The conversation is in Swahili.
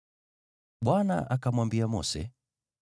Bwana akamwambia Mose,